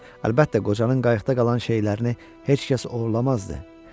Əlbəttə, qocanın qayıqda qalan şeylərini heç kəs oğurlamazdı.